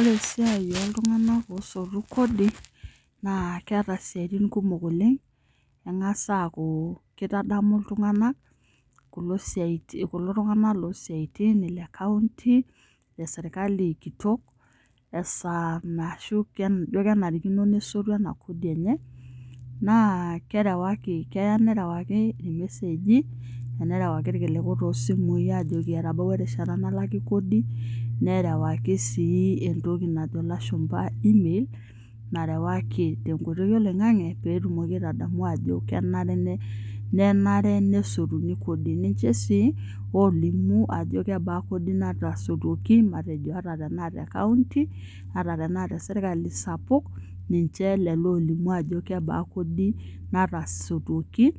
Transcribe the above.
Ore esiai oo ltung'anak oosotu kodi naa keeta isiaitin kumok oleng' eng'as aaku keitadamu iltung'anak kuli siati kulo tung'anak loo siyaitin ee kaunti ee serkali kito esaa ashu kenarikino nesotu ena kodi enye naa kerewaki keya nerewaki iyook irmeseji nerewaki ilkiliku toosimui ajeki etabawua erishata nalaki kodi, nerewaki sii entoki najo ilashumpa email narewakini teenkoitoi oloing'ang'e peetumoki aitadanu aajo kenare nenare nesotuni kodi, nichee sii olimu ajo kebaa kodi naatasutua matejo te kaunti at tenaa teserkali sapuk ninche lelo oolimu ajo kebaa kodi nataasuaki